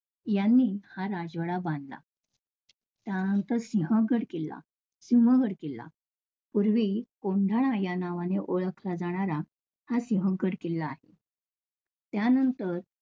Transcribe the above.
यांनी हा राजवाडा बांधला. त्यानंतर सिंहगड किल्ला, सिंहगड किल्ला पूर्वी कोंढाणा या नावाने ओळखला जाणारा हा सिंहगड किल्ला आहे. त्यानंतर